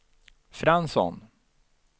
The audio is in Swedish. Fransson